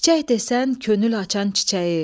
Çiçək desən könül açan çiçəyi.